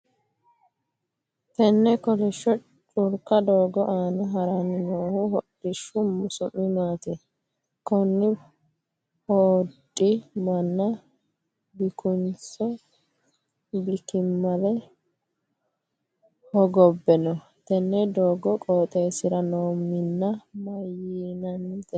Tenne kolisho culka doogo aanna haranni noohu hodhishu su'mi maati? Konni hodhi manna bikuninso bikimale hogobe no? Tenne doogo qooxeesira noo Minna mayinnite?